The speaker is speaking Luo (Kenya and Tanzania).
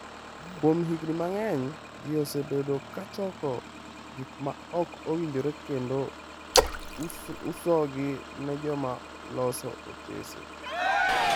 Kuom higni mang'eny, ji osebedo ka choko gik ma ok owinjore kendo usogi ne joma loso otese.